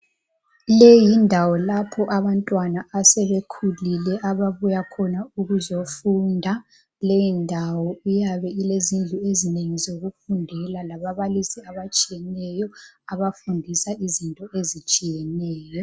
Le yindawo lapho abantwana asebekhulile ababuya khona ukuzofunda, leyindawo iyabe ilezindlu ezinengi zokufundela lababalisi abatshiyeneyo abafundisa izinto ezitshiyeneyo.